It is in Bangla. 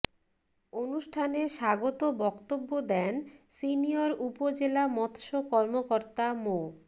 অনুষ্ঠানে স্বাগত বক্তব্য দেন সিনিয়র উপজেলা মৎস্য কর্মকর্তা মো